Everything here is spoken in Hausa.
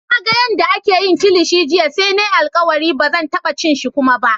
Na gan yadda ake yin kilishi jiya sai na yi alkawali ba zan taba cin shi kuma ba.